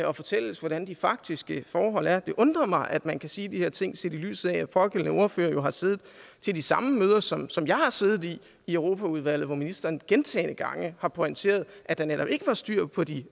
og fortælles hvordan de faktiske forhold er det undrer mig at man kan sige de her ting set i lyset af at pågældende ordfører jo har siddet til de samme møder som som jeg har siddet i i europaudvalget hvor ministeren gentagne gange har pointeret at der netop ikke var styr på de